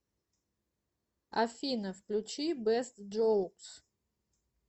афина включи бэст джоукс